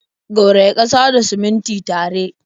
Gauraya ƙasa da simintin tare.